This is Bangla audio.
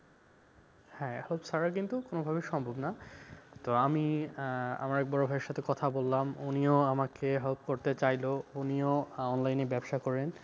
হ্যাঁ, help ছাড়া কিন্তু কোন ভাবেই সম্ভব না তো আমি আহ আমার এক বড় ভাই এর সাথে কথা বললাম। উনিও আমাকে help করতে চাইল উনিও online এ ব্যবসা করেন।